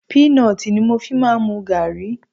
Peanut ni mo fi ń máa ń mu gààrí.